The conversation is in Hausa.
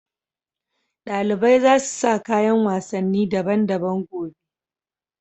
Dalibai za su sa kayan wasanni daban-daban gobe.